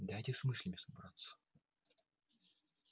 дайте с мыслями собраться